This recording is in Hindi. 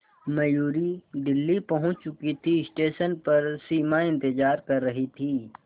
मयूरी दिल्ली पहुंच चुकी थी स्टेशन पर सिमा इंतेज़ार कर रही थी